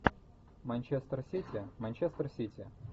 манчестер сити манчестер сити